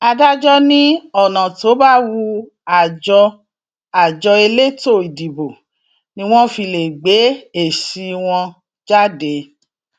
adájọ ní ọnà tó bá wu àjọ àjọ elétò ìdìbò ni wọn fi lè gbé èsì wọn jáde